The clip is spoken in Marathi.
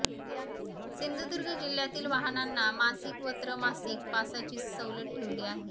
सिंधुदुर्ग जिल्ह्यातील वाहनांना मासिक व त्रमासिक पासची सवलत ठेवली आहे